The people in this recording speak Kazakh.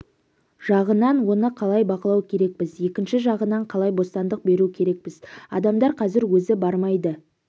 жағынан оны қалай бақылау керекпіз екінші жағынан қалай бостандық беру керекпіз адамдар қазір өзі бармайды